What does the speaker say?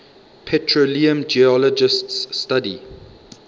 petroleum geologists study